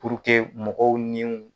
mɔgɔw ni